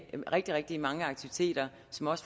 de rigtig mange aktiviteter